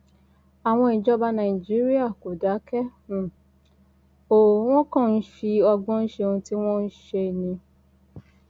àwọn ìjọba nàìjíríà kò dákẹ um o wọn kàn ń fi ọgbọn ṣe ohun tí wọn ń um ṣe ni